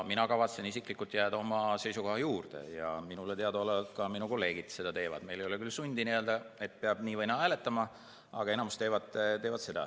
Mina kavatsen isiklikult jääda oma seisukoha juurde ja minule teadaolevalt teevad seda ka minu kolleegid, meil ei ole sundi, et peab nii või naa hääletama, enamus seda teevad.